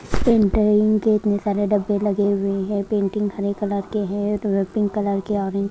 painting के इतने सारे डब्बे लगे हुए हैं पेंटिंग हरी कलर के हैं पिंक कलर के ऑरेंज --